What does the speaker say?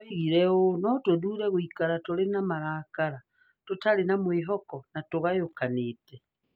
Oigire ũũ: 'No tũthuure gũikara tũrĩ na marakara, tũtarĩ na mwĩhoko, na tũgayũkanĩte.'